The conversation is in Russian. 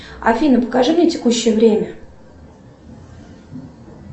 афина покажи мне текущее время